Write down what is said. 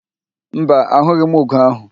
Mba, a hụghị m ugo ahụ